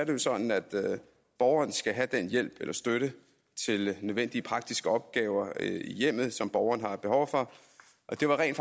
jo sådan at borgeren skal have den hjælp eller støtte til nødvendige praktiske opgaver i hjemmet som borgeren har behov for det var rent